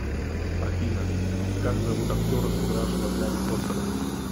афина как зовут актера сыгравшего гарри потера